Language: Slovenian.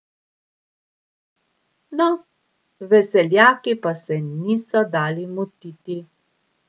No, veseljaki pa se niso dali motiti.